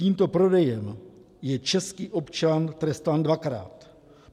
Tímto prodejem je český občan trestán dvakrát.